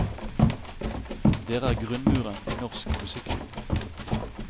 Dere er grunnmuren i norsk musikkliv.